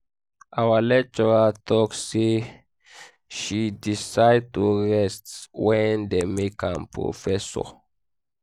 our lecturer tell me say she decide to rest wen dey make am professor